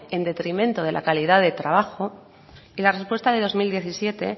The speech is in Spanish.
en detrimento de la calidad de trabajo y la respuesta de dos mil diecisiete